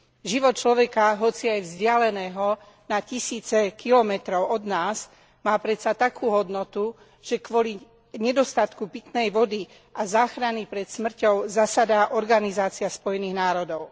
Život človeka, hoci aj vzdialeného na tisíce kilometrov od nás, má predsa takú hodnotu, že kvôli nedostatku pitnej vody a záchrane pred smrťou zasadá Organizácia Spojených národov.